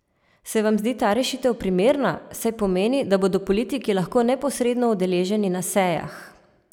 Se vam zdi ta rešitev primerna, saj pomeni, da bodo politiki lahko neposredno udeleženi na sejah?